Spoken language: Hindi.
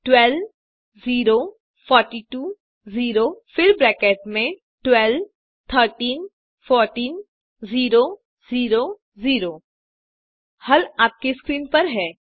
12 042 0 फिर ब्रैकेट में 12 13 14 0 0 0 हल आपके स्क्रीन पर है